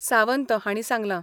सावंत हांणी सांगलां.